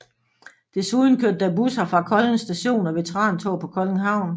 Desuden kørte der busser fra Kolding Station og veterantog på Kolding Havn